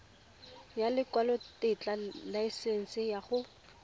ya lekwalotetla laesense ya go